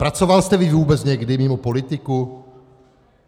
Pracoval vy jste vůbec někdy mimo politiku?